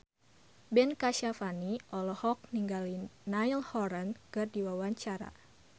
Ben Kasyafani olohok ningali Niall Horran keur diwawancara